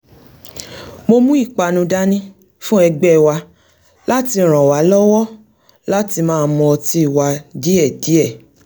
mo mú ìpanu dání fún e̩gbé̩ wa láti ràn wá lọ́wọ́ láti máa mu ọtí wa díè̩díè̩